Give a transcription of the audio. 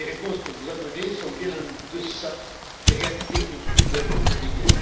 Les réponses que vous apportez sont bien en deçà des réalités qui nous occupent au quotidien.